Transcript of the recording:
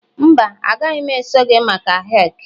mba, agaghị m eso gị maka hick